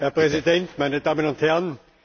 Herr Präsident, meine Damen und Herren!